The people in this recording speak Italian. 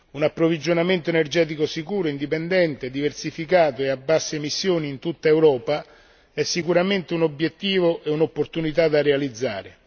Un approvvigionamento energetico sicuro, indipendente, diversificato ed a basse emissioni in tutta Europa è sicuramente un obiettivo e un'opportunità da realizzare